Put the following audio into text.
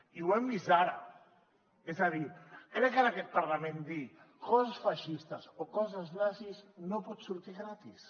i ho hem vist ara és a dir crec que en aquest parlament dir coses feixistes o coses nazis no pot sortir gratis